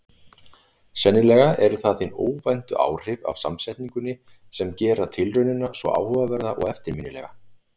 Sennilega eru það hin óvæntu áhrif af samsetningunni sem gerir tilraunina svo áhugaverða og eftirminnilega.